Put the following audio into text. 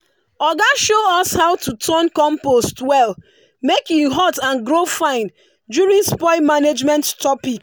oga show us how to turn compost well make e hot and grow fine during spoil management topic.